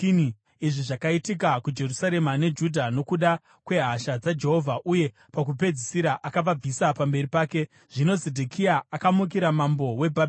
Izvi zvakaitika kuJerusarema neJudha nokuda kwehasha dzaJehovha, uye pakupedzisira akavabvisa pamberi pake. Zvino Zedhekia akamukira mambo weBhabhironi.